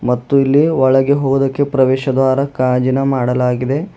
ಮತ್ತು ಇಲ್ಲಿ ಒಳಗೆ ಹೋಗೊಕೆ ಪ್ರವೇಶದ್ವಾರ ಗಾಜಿನ ಮಾಡಲಾಗಿದೆ.